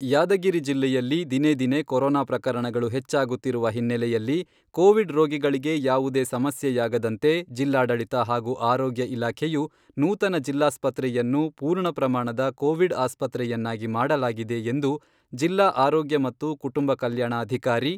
ಯಾದಗಿರಿ ಜಿಲ್ಲೆಯಲ್ಲಿ ದಿನೇ ದಿನೇ ಕೊರೋನಾ ಪ್ರಕರಣಗಳು ಹೆಚ್ಚಾಗುತ್ತಿರುವ ಹಿನ್ನೆಲೆಯಲ್ಲಿ ಕೋವಿಡ್ ರೋಗಿಗಳಿಗೆ ಯಾವುದೇ ಸಮಸ್ಯೆಯಾಗದಂತೆ ಜಿಲ್ಲಾಡಳಿತ ಹಾಗೂ ಆರೋಗ್ಯ ಇಲಾಖೆಯು ನೂತನ ಜಿಲ್ಲಾಸ್ಪತ್ರೆಯನ್ನು ಪೂರ್ಣ ಪ್ರಮಾಣದ ಕೋವಿಡ್ ಆಸ್ಪತ್ರೆಯನ್ನಾಗಿ ಮಾಡಲಾಗಿದೆ ಎಂದು ಜಿಲ್ಲಾ ಆರೋಗ್ಯ ಮತ್ತು ಕುಟುಂಬ ಕಲ್ಯಾಣಾಧಿಕಾರಿ